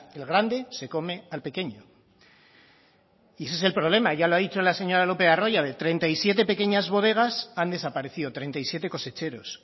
el grande se come al pequeño y ese es el problema ya lo ha dicho en la señora lopez de arroyabe treinta y siete pequeñas bodegas han desaparecido treinta y siete cosecheros